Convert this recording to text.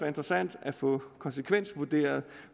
interessant at få konsekvensvurderet